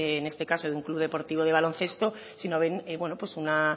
de en este caso de un club deportivo de baloncesto bueno